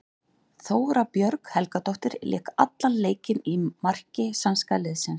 Þóra Björg Helgadóttir lék allan leikinn í marki sænska liðsins.